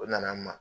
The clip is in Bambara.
O nana n ma